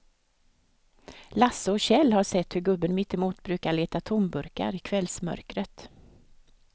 Lasse och Kjell har sett hur gubben mittemot brukar leta tomburkar i kvällsmörkret.